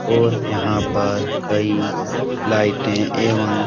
और यहां पर कई लाइटें एवं --